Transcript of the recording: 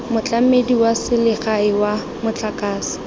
motlamedi wa selegae wa motlakase